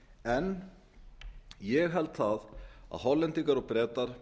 en ég held að hollendingar og bretar